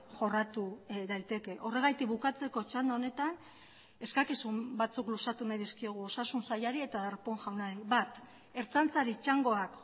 jorratu daiteke horregatik bukatzeko txanda honetan eskakizun batzuk luzatu nahi dizkiogu osasun sailari eta darpón jaunari bat ertzaintzari txangoak